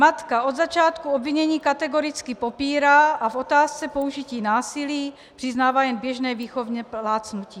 Matka od začátku obvinění kategoricky popírá a v otázce použití násilí přiznává jen běžné výchovné plácnutí.